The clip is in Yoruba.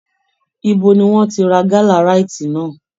Ibo ni wọ́n ti ra gálà ráíìtì náà!